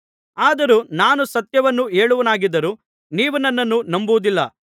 ಆದರೂ ನಾನು ಸತ್ಯವನ್ನು ಹೇಳುವವನಾಗಿದ್ದರೂ ನೀವು ನನ್ನನ್ನು ನಂಬುವುದಿಲ್ಲ